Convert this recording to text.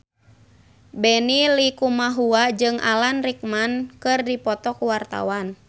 Benny Likumahua jeung Alan Rickman keur dipoto ku wartawan